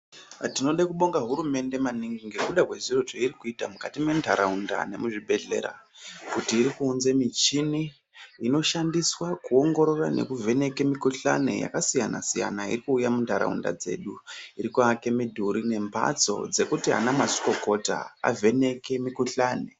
Tinode kubonga hurumende maningi, ngekuda kwezviro zvairi kuita mukati mendaraundaa, muzvibhedhlera nekuti iri kuunze michini inoshandiswaa kuongorora nekuvheneke mukuhlani yakasiyana siyana, iri kuuya mundaraunda dzedu, iri kuake midhuri nembatso dzekuti ana mazvikokota avheneke mikuhlani.